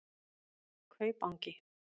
Kaupangi